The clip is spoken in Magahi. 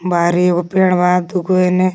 बाहरी एगो पेड़ बा दूगो एने--